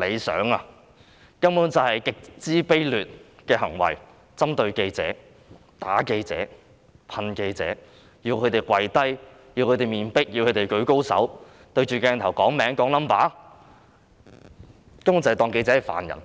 理想，這些根本是極其卑劣的行為，是針對記者、打記者、噴記者，還要記者跪下、面壁、舉高手、對鏡頭讀出自己姓名和身份證號碼，他們根本當記者是犯人。